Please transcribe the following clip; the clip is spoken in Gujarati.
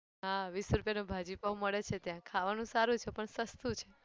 હા વીસ રૂપિયાનો ભાજી પાઉં મળે છે ત્યાં. ખાવાનું સારું છે પણ સસ્તું છે.